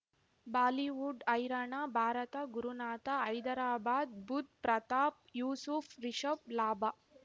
Bollywood ಹೈರಾಣ ಭಾರತ ಗುರುನಾಥ ಹೈದರಾಬಾದ್ ಬುಧ್ ಪ್ರತಾಪ್ ಯೂಸುಫ್ ರಿಷಬ್ ಲಾಭ